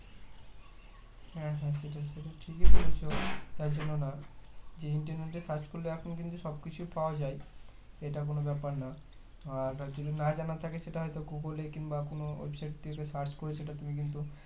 হ্যাঁ হ্যাঁ সেটা ঠিকই বলেছো তার জন্য না যে internet কাজ করলে এখন কিন্তু সবকিছু পাওয়া যাই এটা কোনো ব্যাপার না আর যদি না জানা থাকে সেটা হয়তো google এ কিংবা কোনো website থেকে search করে তুমি কিন্তু